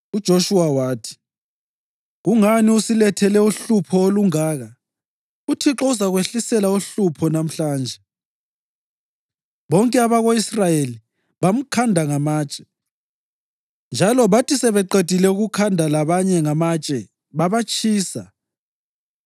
UJoshuwa wathi, “Kungani usilethele uhlupho olungaka? UThixo uzakwehlisela uhlupho lamhlanje.” Bonke abako-Israyeli bamkhanda ngamatshe, njalo bathi sebeqedile ukukhanda labanye ngamatshe babatshisa.